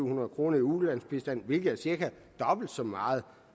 hundrede kroner i ulandsbistand hvilket er cirka dobbelt så meget